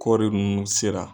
Kɔɔri nunnu sera.